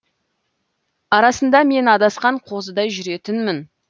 арасында мен адасқан қозыдай жүретінмін